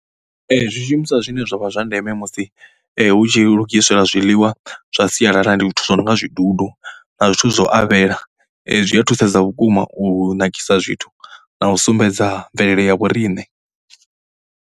Ee, zwishumiswa zwine zwa vha zwa ndeme musi hu tshi lugisela zwiḽiwa zwa sialala ndi zwithu zwo no nga zwidudu na zwithu zwo avhela. Zwi a thusedza vhukuma u nakisa zwithu na u sumbedza mvelele ya vhoriṋe.